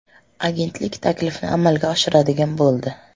Agentlik taklifni amalga oshiradigan bo‘ldi.